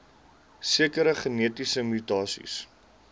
sekere genetiese mutasies